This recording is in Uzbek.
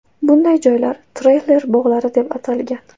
Bunday joylar treyler bog‘lari deb atalgan.